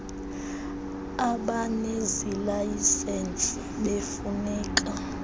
abanezi layisensi befuneka